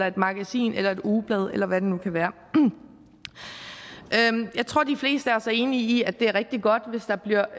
et magasin eller et ugeblad eller hvad det nu kan være er jeg tror de fleste af os er enige om at det er rigtig godt hvis der bliver